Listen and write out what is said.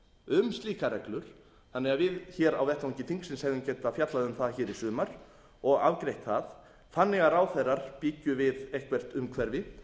um slíkar reglur þannig að við hér á vettvangi þingsins hefðum getað fjallað um það hér í sumar og afgreitt það þannig að ráðherrar byggju við eitthvert umhverfi